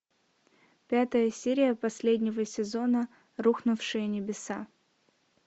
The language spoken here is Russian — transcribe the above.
пятая серия последнего сезона рухнувшие небеса